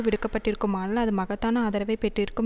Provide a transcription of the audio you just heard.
விடுக்கப்பட்டிருக்குமானால் அது மகத்தான ஆதரவை பெற்றிருக்கும்